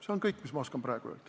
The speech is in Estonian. See on kõik, mis ma oskan praegu öelda.